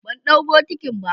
bandau bokitin ba.